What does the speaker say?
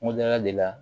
Kungoda de la